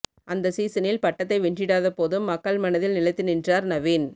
அந்த சீசனில் பட்டத்தை வென்றிடாத போதும் மக்கள் மனதில் நிலைத்து நின்றார் நவீன்